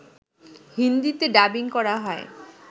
হিন্দিতে ডাবিং করা হয়